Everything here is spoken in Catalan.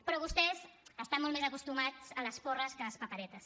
però vostès estan molt més acostumats a les porres que a les paperetes